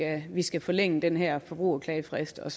at vi skal forlænge den her forbrugerklagefrist og